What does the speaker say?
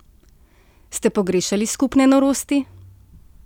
Ste pogrešali skupne norosti?